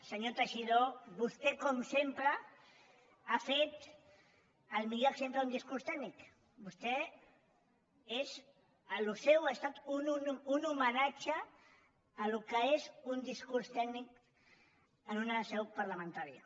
senyor teixidó vostè com sempre ha fet el millor exemple d’un discurs tècnic això seu ha estat un homenatge al que és un discurs tècnic en una seu parlamentària